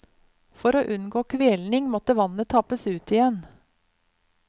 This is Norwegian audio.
For å unngå kvelning måtte vannet tappes ut igjen.